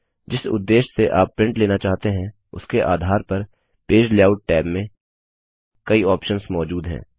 जिस उद्देश्य से आप प्रिंट लेना चाहते हैं उसके आधार पर पेज लेआउट टैब में कई ऑप्शंस मौजूद हैं